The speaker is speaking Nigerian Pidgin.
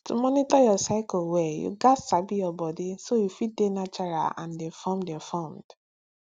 to monitor your cycle well you gats sabi your body so you fit dey natural and informed informed